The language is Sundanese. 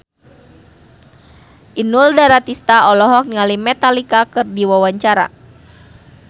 Inul Daratista olohok ningali Metallica keur diwawancara